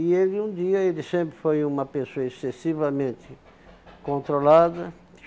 E ele um dia, ele sempre foi uma pessoa excessivamente controlada.